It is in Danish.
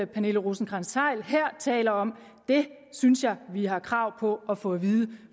pernille rosenkrantz theil her taler om synes jeg vi har krav på at få at vide